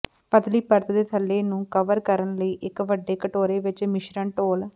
ਪਤਲੀ ਪਰਤ ਦੇ ਥੱਲੇ ਨੂੰ ਕਵਰ ਕਰਨ ਲਈ ਇੱਕ ਵੱਡੇ ਕਟੋਰੇ ਵਿੱਚ ਮਿਸ਼ਰਣ ਡੋਲ੍ਹ